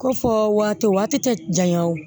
Ko fɔ waati tɛ janya o